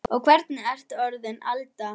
Og hvernig ertu svo orðin Alda.